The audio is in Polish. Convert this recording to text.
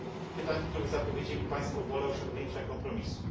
Pytań, w których zapowiedzieli Państwo wolę osiągnięcia kompromisu.